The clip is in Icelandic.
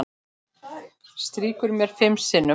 Strýkur mér fimm sinnum.